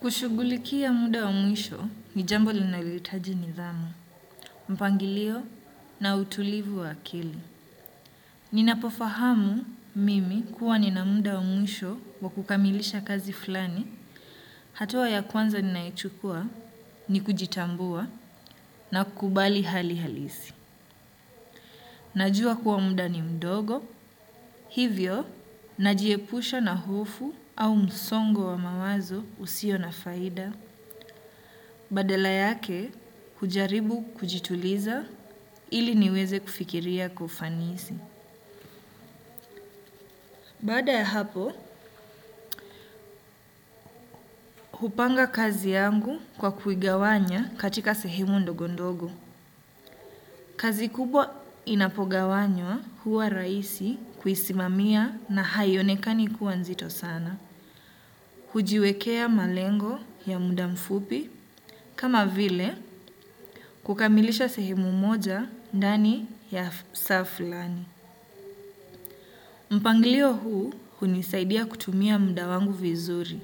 Kushugulikia muda wa mwisho, ni jambo linalitaji nidhamu, mpangilio na utulivu wa akili. Ninapofahamu mimi kuwa nina muda wa mwisho wa kukamilisha kazi flani, hatua ya kwanza ninaichukua ni kujitambua na kukubali hali halisi. Najua kuwa muda ni mdogo, hivyo najiepusha na hofu au msongo wa mawazo usio na faida. Badala yake, hujaribu kujituliza ili niweze kufikiria kufanisi. Bada ya hapo, hupanga kazi yangu kwa kuigawanya katika sehemu ndogondogo. Kazi kubwa inapo gawanywa huwa raisi kuisimamia na haionekani kuwa nzito sana. Hujiwekea malengo ya muda mfupi, kama vile kukamilisha sehemu moja ndani ya saa fulani. Mpangilio huu hunisaidia kutumia mda wangu vizuri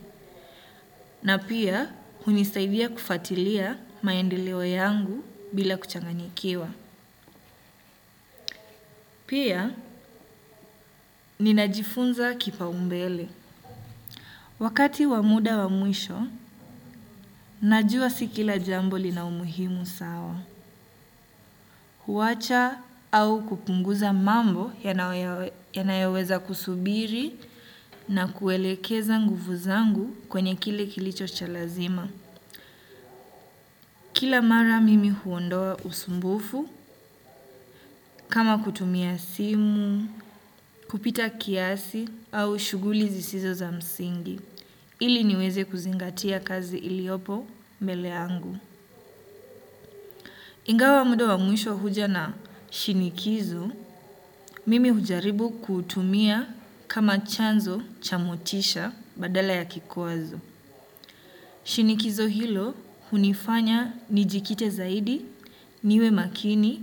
na pia hunisaidia kufatilia maendeo yangu bila kuchanganikiwa. Pia ninajifunza kipaumbele. Wakati wa muda wa mwisho, najua si kila jambo lina umuhimu sawa. Huwacha au kupunguza mambo yanayoweza kusubiri na kuelekeza nguvu zangu kwenye kile kilicho cha lazima. Kila mara mimi huondoa usumbufu kama kutumia simu, kupita kiasi au shuguli zisizo za msingi, ili niweze kuzingatia kazi iliopo mbeleangu. Ingawa muda wa mwisho huja na shinikizo, mimi hujaribu kutumia kama chanzo cha motisha badala ya kikwazo. Shinikizo hilo hunifanya nijikite zaidi niwe makini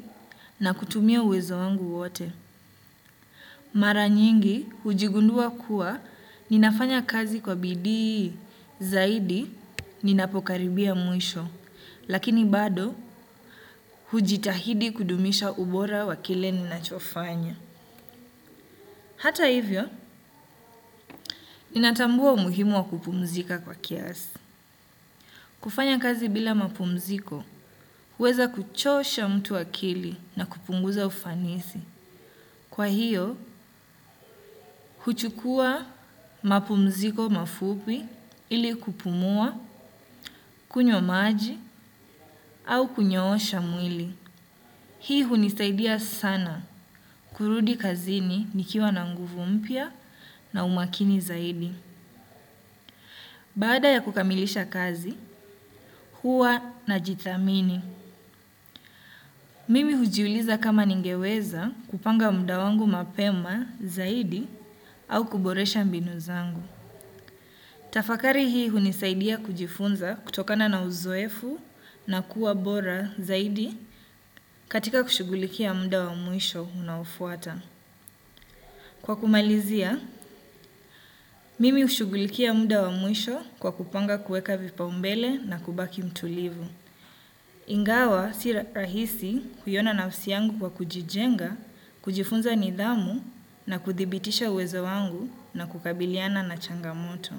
na kutumia uwezo wangu wote. Mara nyingi hujigundua kuwa ninafanya kazi kwa bidii zaidi ninapokaribia mwisho. Lakini bado hujitahidi kudumisha ubora wa kile ninachofanya. Hata hivyo, ninatambua umuhimu wa kupumzika kwa kiasi. Kufanya kazi bila mapumziko, huweza kuchosha mtu akili na kupunguza ufanisi. Kwa hiyo, huchukua mapumziko mafupi ili kupumua, kunywa maji, au kunyoosha mwili. Hii hunisaidia sana kurudi kazini nikiwa na nguvu mpya na umakini zaidi. Baada ya kukamilisha kazi, huwa najithamini. Mimi hujiuliza kama ningeweza kupanga mda wangu mapema zaidi au kuboresha mbinu zangu. Tafakari hii hunisaidia kujifunza kutokana na uzoefu na kuwa bora zaidi katika kushugulikia mda wa mwisho unaofuata. Kwa kumalizia, mimi hushugulikia mda wa mwisho kwa kupanga kueka vipaumbele na kubaki mtulivu. Ingawa si rahisi kuiona nafsi yangu kwa kujijenga, kujifunza nidhamu na kuthibitisha uwezo wangu na kukabiliana na changamoto.